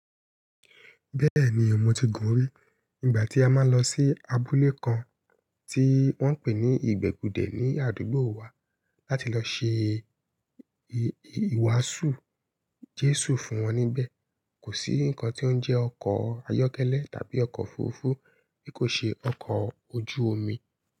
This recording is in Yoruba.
Bẹ́ẹ̀ni, mo ti gùn rí. Nígbà tí a máa ń lọ sí abúlé kan tí wọ́n ń pè ní ìgbègudè ní àdúgbò wa láti lọ ṣe ìwàásù Jésù fún wọn níbẹ̀. Kò sí nnkan tí ó ń jẹ́ ọkọ̀ ayọ́kẹ́lẹ́ tàbí ọkọ̀ òfurufú, bí kò ṣe ọkọ̀ ojú omi.